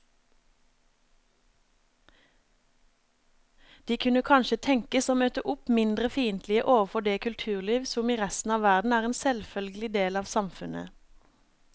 De kunne kanskje tenkes å møte opp mindre fiendtlige overfor det kulturliv som i resten av verden er en selvfølgelig del av samfunnet.